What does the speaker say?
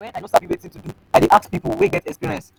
wen i no sabi wetin to do i dey ask pipu wey get experience advice.